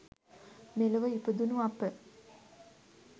මෙලොව ඉපදුණු අප